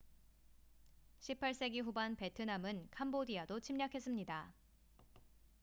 18세기 후반 베트남은 캄보디아도 침략했습니다